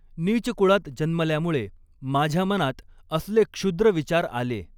नीच कुळात जन्मल्यामुळे माझ्या मनात असले क्षुद्र विचार आले.